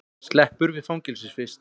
Sleppur við fangelsisvist